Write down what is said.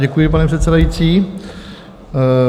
Děkuji, pane předsedající.